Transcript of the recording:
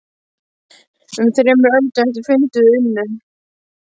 Um þremur öldum eftir fundinn unnu